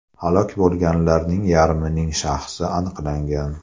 Halok bo‘lganlarning yarmining shaxsi aniqlangan.